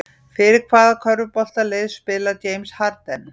Fyrir hvaða körfuboltalið spilar James Harden?